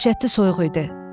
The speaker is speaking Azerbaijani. Dəhşətli soyuq idi.